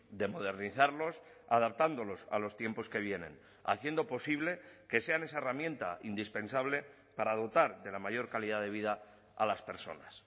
de modernizarlos adaptándolos a los tiempos que vienen haciendo posible que sean esa herramienta indispensable para dotar de la mayor calidad de vida a las personas